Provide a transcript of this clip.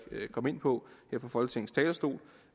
komme ind på her fra folketingets talerstol